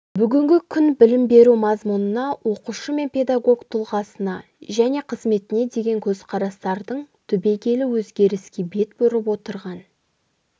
бүгінгі күн білім беру мазмұнына оқушы мен педагог тұлғасына және қызметіне деген көзқарастардың түбегейлі өзгеріске бет бұрып отырған